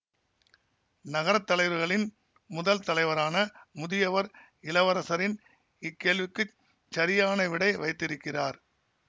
நகர தலைவர்களின் முதல் தலைவரான முதியவர் இளவரசரின் இக்கேள்விக்குச் சரியான விடை வைத்திருக்கிறார்